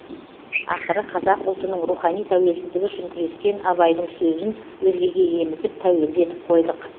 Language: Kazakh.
ақыры қазақ ұлтының рухани тәуелсіздігі үшін күрескен абайдың сөзін өзгеге емізіп тәуелді етіп қойдық